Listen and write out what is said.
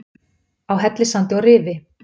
Á Hellissandi og Rifi